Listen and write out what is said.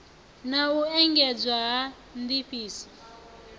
na u engedzwa ha ndifhiso